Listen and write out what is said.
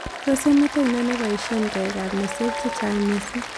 Tos' emet ainon neboisyee koikap nesek che chnag' misiiing'